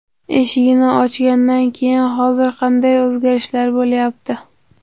Eshigini ochgandan keyin hozir qanday o‘zgarishlar bo‘lyapti?!